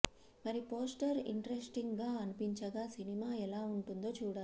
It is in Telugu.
మరి పోస్టర్ ఇంట్రెస్టింగ్ గా అనిపించగా సినిమా ఎలా ఉంటుందో చూడాలి